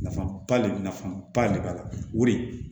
Nafaba de nafaba de b'a la o de